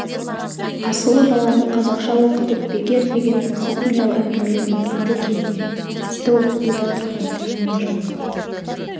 асылы баланы қазақша оқытып бекер деген мысық мияу әңгіме мүңкиді кейде тіпті оқытуда тұрған дәнеңе жоқ